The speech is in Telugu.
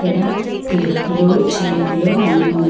ఇక్కడ క్లిప్పు లు చైన్ లు అన్నీ ఉన్నాయి.